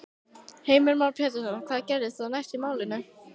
Heimir Már Pétursson: Hvað gerist þá næst í málinu?